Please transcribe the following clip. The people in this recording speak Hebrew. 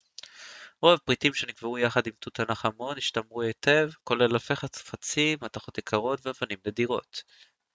רוב הפריטים שנקברו יחד עם תות ענח' אמון השתמרו היטב כולל אלפי חפצים עשויים מתכות יקרות ואבנים נדירות